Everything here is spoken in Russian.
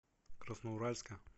красноуральска